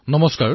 নমস্কাৰ